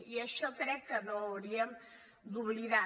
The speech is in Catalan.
i això crec que no ho hauríem d’oblidar